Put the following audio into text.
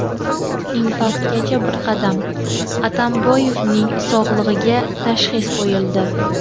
Infarktgacha bir qadam: Atamboyevning sog‘lig‘iga tashxis qo‘yildi.